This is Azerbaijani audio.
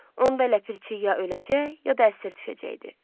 Onda Ləpirçi ya öləcək, ya da əsir düşəcəkdi.